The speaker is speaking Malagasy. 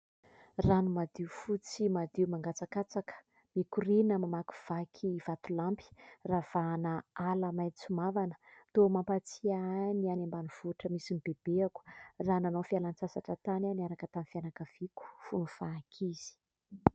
Rano madio fotsy madio mangatsakatsaka, mikoriana mamakivaky vatolampy, ravahana ala maitso mavana, toa mampatsiahy ahy ny any ambanivohitra misy ny bebeako raha nanao fialan-tsasatra tany aho niaraka tamin'ny fianakaviako fony fahankizy.